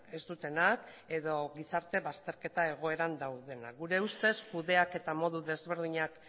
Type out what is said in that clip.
ez dutenak edo gizarte bazterketa egoeran daudenak gure ustez kudeaketa modu desberdinak